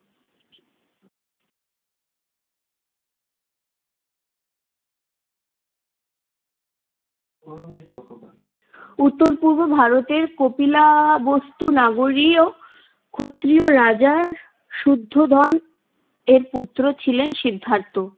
উত্তর-পূর্ব ভারতের কপিলাবস্তু নগরীও ক্ষত্রীয় রাজার শুদ্ধোধন এর পুত্র ছিলেন সিদ্ধার্থ।